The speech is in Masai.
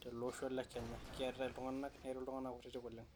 tele osho le Kenya. Keeritai iltung'anak, keeritai iltung'anak kutitik oleng'.